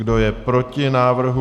Kdo je proti návrhu?